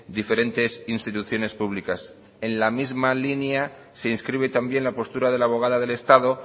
diferentes instituciones públicas en la misma línea se inscribe también la postura de la abogada del estado